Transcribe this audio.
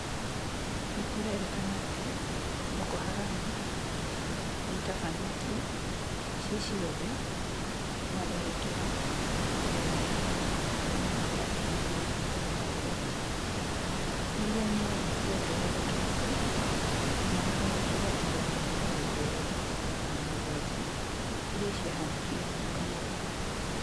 Nĩkũrerĩkana atĩ Boko Haram nĩitabanĩtie ciĩ ciothe matharĩkĩra igana rĩa mĩrongo ĩtano mwaka wa ngiri igĩrĩ na ikũmi na mũgwanja , ĩrĩa nĩ yongerekete nginya matharĩkĩra igana rĩa mĩrongo ĩrĩ na mũngwanja irĩa ciahanĩkire mwaka mũthiru